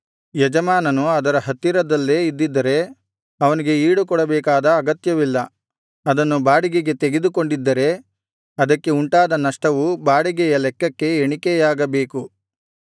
ಯಜಮಾನನು ಅದರ ಹತ್ತಿರದಲ್ಲೇ ಇದಿದ್ದರೆ ಅವನಿಗೆ ಈಡುಕೊಡಬೇಕಾದ ಅಗತ್ಯವಿಲ್ಲ ಅದನ್ನು ಬಾಡಿಗೆಗೆ ತೆಗೆದುಕೊಂಡಿದ್ದರೆ ಅದಕ್ಕೆ ಉಂಟಾದ ನಷ್ಟವು ಬಾಡಿಗೆಯ ಲೆಕ್ಕಕ್ಕೆ ಎಣಿಕೆಯಾಗಬೇಕು